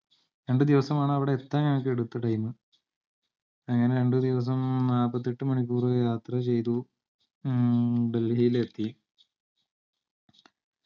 രണ്ടുദിവസമാണ് അവിടെ എത്താൻ ഞങ്ങക്ക് എടുത്ത time അങ്ങനെ രണ്ടുദിവസം മ്മ് നാപ്പത്തെട്ട്‍ മണിക്കൂർ യാത്ര ചെയ്തു മ്മ് ഡൽഹിയിലെത്തി